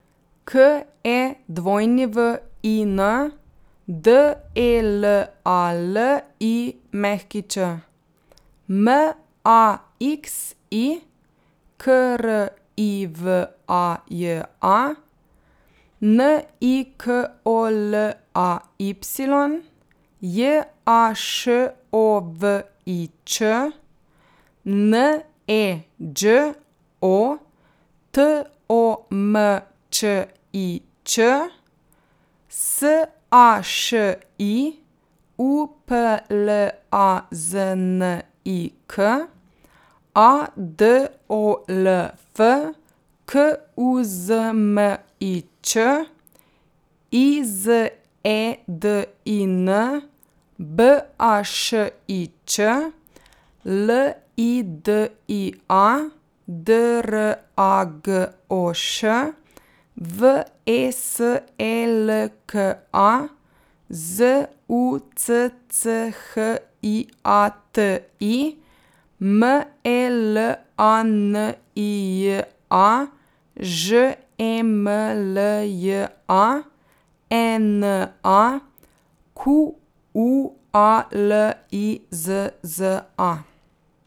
K E W I N, D E L A L I Ć; M A X I, K R I V A J A; N I K O L A Y, J A Š O V I Č; N E Đ O, T O M Č I Č; S A Š I, U P L A Z N I K; A D O L F, K U Z M I Č; I Z E D I N, B A Š I Č; L I D I A, D R A G O Š; V E S E L K A, Z U C C H I A T I; M E L A N I J A, Ž E M L J A; E N A, Q U A L I Z Z A.